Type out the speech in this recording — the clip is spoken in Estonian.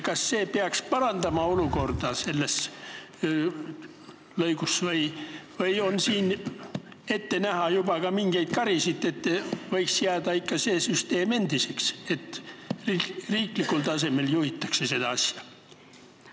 Kas see peaks olukorda selles lõigus parandama või on siin juba ette näha ka mingeid karisid ja see süsteem võiks jääda ikka endiseks, nii et riiklikul tasemel juhitakse seda asja?